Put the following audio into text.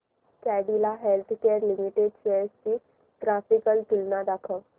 Cadila Healthcare Limited shares ची graphical तुलना दाखव